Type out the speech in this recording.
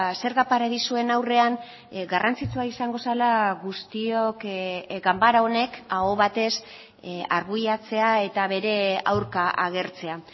zerga paradisuen aurrean garrantzitsua izango zela guztiok ganbara honek aho batez arbuiatzea eta bere aurka agertzea